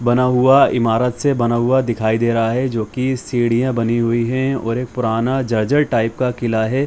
बना हुआ ईमारत से बना हुआ दिखाई दे रहा है जो की सीढ़िया बनी हुई हैं और एक पुराना ज़र्ज़र टाइप का किला है।